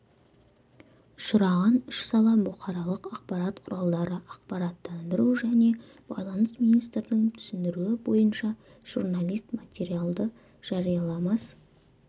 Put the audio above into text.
ұшыраған үш сала бұқаралық ақпарат құралдары ақпараттандыру және байланыс министрдің түсіндіруі бойынша журналист материалды жарияламас